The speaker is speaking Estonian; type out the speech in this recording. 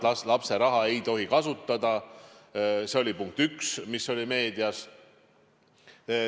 Lapse raha ei tohi kasutada – see oli punkt üks, mis oli meedias.